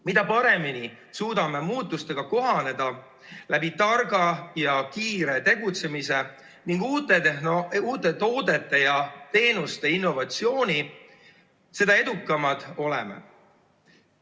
Mida paremini suudame muutustega kohaneda targa ja kiire tegutsemise ning uute toodete ja teenuste innovatsiooni abil, seda edukamad oleme.